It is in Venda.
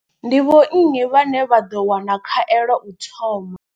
Ndi vho nnyi vhane vha ḓo wana khaelo u thoma.